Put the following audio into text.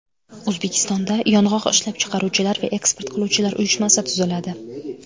O‘zbekistonda Yong‘oq ishlab chiqaruvchilar va eksport qiluvchilar uyushmasi tuziladi.